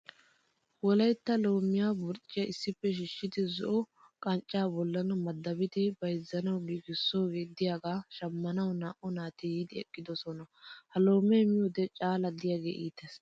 Wolaytta loomiya burcciya issippe shiishidi zo'o qanccaa bollan madabidi bayizzanawu giigisoogee diyagaa shammanawu naa"u naati yiidi eqqidosona. Ha loomee miyode caala diyagee iites.